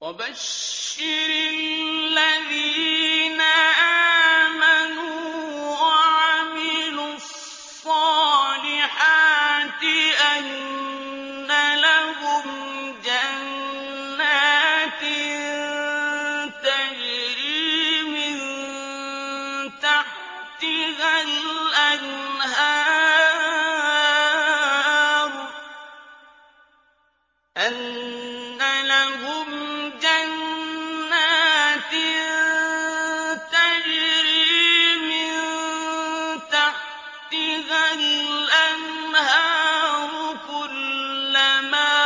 وَبَشِّرِ الَّذِينَ آمَنُوا وَعَمِلُوا الصَّالِحَاتِ أَنَّ لَهُمْ جَنَّاتٍ تَجْرِي مِن تَحْتِهَا الْأَنْهَارُ ۖ كُلَّمَا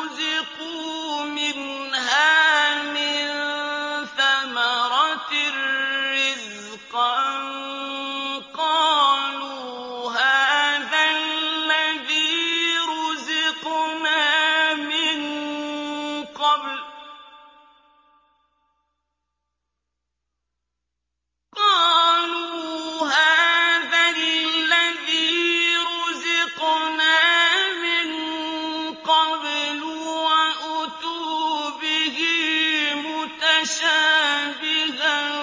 رُزِقُوا مِنْهَا مِن ثَمَرَةٍ رِّزْقًا ۙ قَالُوا هَٰذَا الَّذِي رُزِقْنَا مِن قَبْلُ ۖ وَأُتُوا بِهِ مُتَشَابِهًا ۖ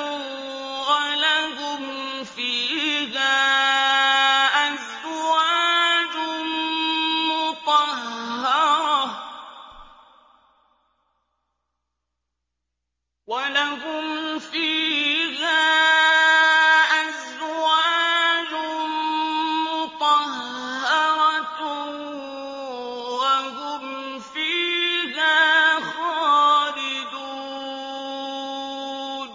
وَلَهُمْ فِيهَا أَزْوَاجٌ مُّطَهَّرَةٌ ۖ وَهُمْ فِيهَا خَالِدُونَ